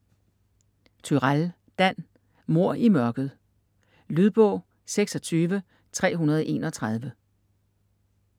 Turèll, Dan: Mord i mørket Lydbog 26331